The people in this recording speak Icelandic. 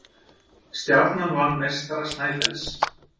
Stjarnan vann meistara Snæfells